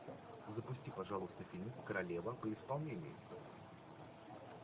запусти пожалуйста фильм королева при исполнении